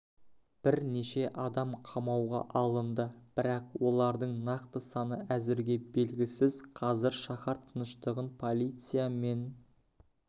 бірнеше адам қамауға алынды бірақ олардың нақты саны әзірге белгісіз қазір шаһар тыныштығын полиция мен